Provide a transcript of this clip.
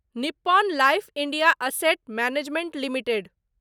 Nippon life India asset management limited